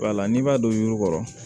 Wala n'i b'a don yurukɔrɔ